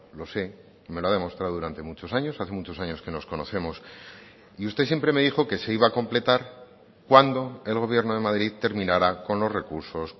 lo sé me lo ha demostrado durante muchos años hace muchos años que nos conocemos y usted siempre me dijo que se iba a completar cuando el gobierno de madrid terminara con los recursos